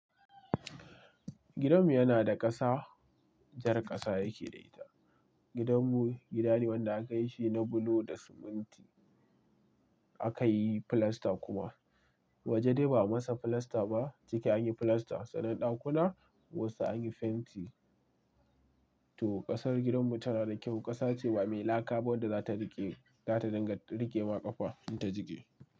Gidanmu yana da ƙasa, jar ƙasa yake da ita. Gidanmu gida ne wanda aka yi shi na bulo da siminti, aka yi filasta kuma. Waje dai ba a masa filasta ba. Ciki an yi filasta, sannan ɗakuna wasu an yi fenti. To, ƙasar gidanmu tana da kyau. Ƙasa ce ba mai laka ba, wadda za ta riƙe, za ta dinga riƙe ma ƙafa in ta jige.